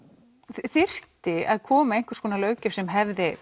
þyrfti að koma einhver löggjöf sem hefði